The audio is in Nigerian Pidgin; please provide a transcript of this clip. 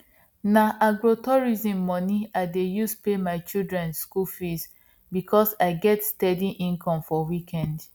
na agrotourism money i dey use pay my children school fees because i get steady income for weekend